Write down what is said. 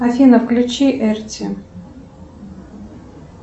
афина включи эрти